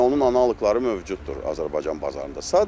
Yəni onun analoqları mövcuddur Azərbaycan bazarında.